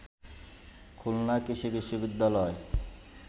খুলনা কৃষি বিশ্ববিদ্যালয়